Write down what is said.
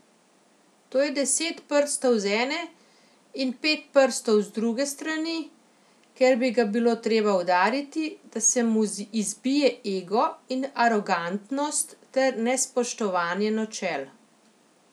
To je deset prstov z ene, in pet prstov z druge strani, ker bi ga bilo treba udariti, da se mu izbije ego in arogantnost ter nespoštovanje načel.